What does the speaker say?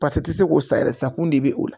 Pasi tɛ se k'o sa yɛrɛ san kun de bɛ o la